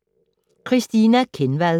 Christina Kenvad: